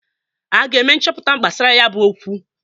A ga-eme nchọpụta gbasara ya bụ okwu.